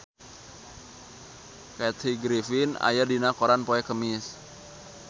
Kathy Griffin aya dina koran poe Kemis